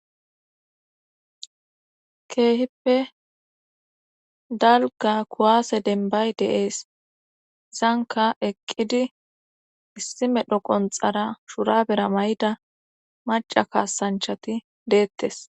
keehippe dalga kuwaase denbay deees zanka eqqidi issi medho qonxara shurabera may7ida maca kaasanchati deettes